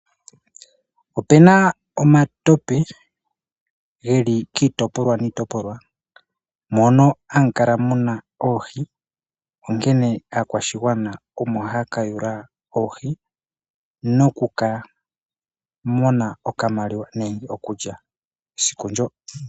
Opena omatope geli kiitopolwa niitoplwa mono hamu kala muna oohi onkene aakwashigwana omo haya kayula oohi noku ka mona okamaliwa nenge okulya esiku ndyo.